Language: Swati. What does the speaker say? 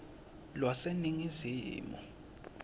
lwaseningizimu